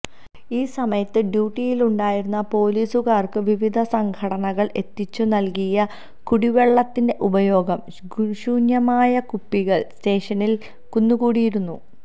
ഈ സമയത്ത് ഡ്യൂട്ടിയിലുണ്ടായിരുന്ന പോലീസുകാർക്ക് വിവിധ സംഘടനകൾ എത്തിച്ചു നൽകിയ കുടിവെള്ളത്തിന്റെ ഉപയോഗ ശൂന്യമായ കുപ്പികൾ സ്റ്റേഷനിൽ കുന്നുകൂടിയിരുന്നു